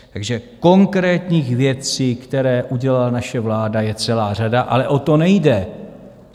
Takže konkrétních věcí, které udělala naše vláda, je celá řada, ale o to nejde.